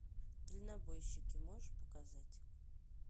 дальнобойщики можешь показать